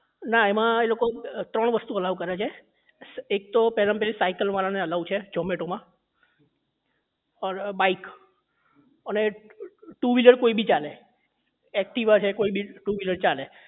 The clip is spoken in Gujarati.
ના એમાં એ લોકો ત્રણ વસ્તુ allow કરે છે એક તો પહેલા માં પહેલી સાયકલવાળા ને allow છે zomato માં ઔર bike અને two wheeler કોઈ બી ચાલે activa છે કોઈ બી two wheeler ચાલે